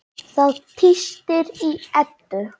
Það tístir í Eddu.